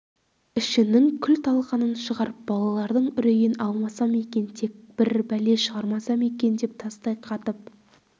ішінің күл-талқанын шығарып балалардың үрейін алмасам екен тек бір бәле шығармасам екен деп тастай қатып